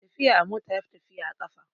Tafiya a mota yafi sauri a kan tafiya da ƙafa